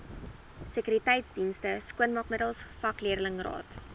sekuriteitsdienste skoonmaakmiddels vakleerlingraad